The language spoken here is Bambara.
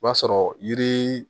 O b'a sɔrɔ yiri